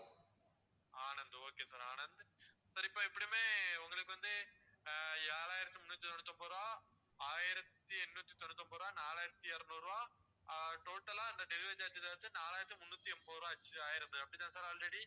Anand okay sir Anand sir இப்போ எப்படியுமே உங்களுக்கு வந்து ஹம் ஏழாயிரத்தி முந்நூத்தி தொண்ணூத்தி ஒன்பது ரூபா, ஆயிரத்தி எண்ணூத்தி தொண்ணூத்தி ஒன்பது ரூபா, நாலாயிரத்தி இருநூறு ருபா ஆஹ் total லா அந்த delivery charge சேர்த்து நாலாயிரத்தி முந்நூத்தி எண்பது ரூபா ஆச்சு அப்பிடிதானே sir already